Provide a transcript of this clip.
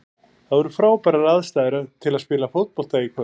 Það voru frábærar aðstæður til að spila fótbolta í kvöld.